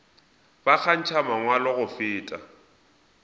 ba kgantšha mangwalo go feta